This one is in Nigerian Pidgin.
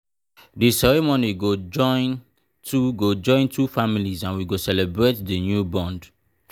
di ceremony go join two go join two families and we go celebrate the new bond.